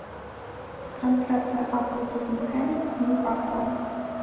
трансляция апл тоттенхэм с ньюкаслом